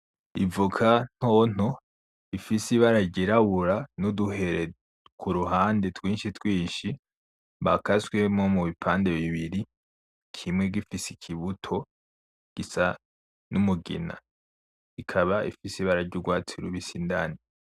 Ivoka ntonto ifise ibara ryirabura nuduhere kuruhande twinshi twinshi bakaswemwo mu bipande bibiri kimwe gifise ikibuto gisa n'umugina, ikaba ifise ibara ry'urwatsi rubisi indani.